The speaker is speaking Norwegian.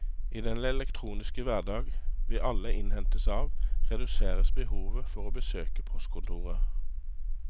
I den elektroniske hverdag vi alle innhentes av, reduseres behovet for å besøke postkontoret.